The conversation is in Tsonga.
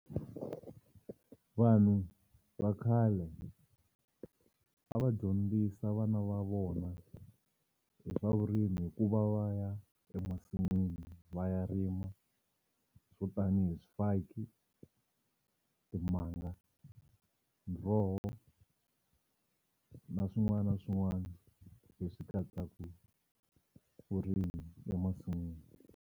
Vanhu va khale a va dyondzisa vana va vona hi swa vurimi hi ku va va ya emasin'wini va ya rima swo tanihi swifaki timanga, muroho na swin'wana na swin'wana leswi katsaka vurimi emasin'wini.